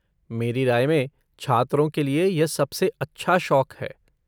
मेरी राय में छात्रों के लिए यह सबसे अच्छा शौक है।